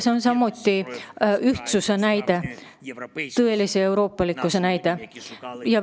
See on samuti ühtsuse näide, tõelise euroopalikkuse näide.